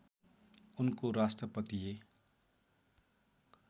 उनको राष्ट्रपतीय